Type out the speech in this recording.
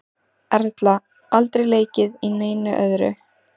Erla: Aldrei leikið í neinu öðru?